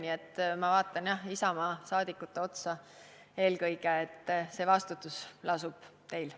Nii et ma vaatan, jah, eelkõige Isamaa liikmete otsa – see vastutus lasub teil.